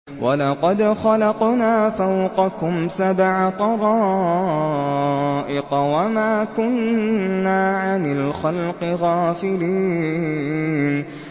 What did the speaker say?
وَلَقَدْ خَلَقْنَا فَوْقَكُمْ سَبْعَ طَرَائِقَ وَمَا كُنَّا عَنِ الْخَلْقِ غَافِلِينَ